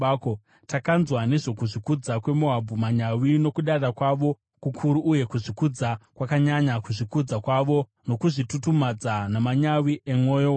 “Takanzwa nezvokuzvikudza kweMoabhu, manyawi nokudada kwavo kukuru uye kuzvikudza kwakanyanya, kuzvikudza kwavo nokuzvitutumadza namanyawi emwoyo wayo.